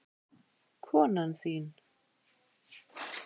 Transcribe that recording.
Konan þín?